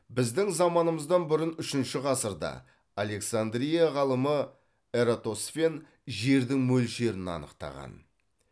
біздің заманымыздан бұрын үшінші ғасырда александрия ғалымы эратосфен жердің мөлшерін анықтаған